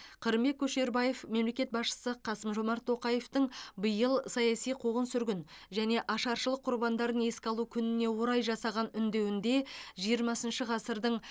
қырымбек көшербаев мемлекет басшысы қасым жомарт тоқаевтың биыл саяси қуғын сүргін және ашаршылық құрбандарын еске алу күніне орай жасаған үндеуінде жиырмасыншы ғасырдың